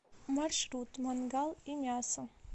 маршрут мангал и мясо